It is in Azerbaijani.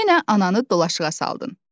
Yenə ananı dolaşığa saldın.